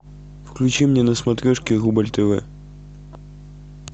включи мне на смотрешке рубль тв